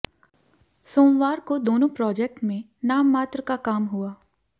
सोमवार को दोनों प्रोजेक्ट में नाममात्र का काम हुआ